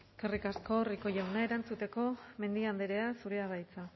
eskerrik asko rico jauna erantzuteko mendia andrea zurea da hitza